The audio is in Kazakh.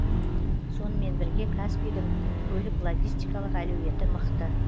сонымен бірге каспийдің көлік логистикалық әлеуеті мықты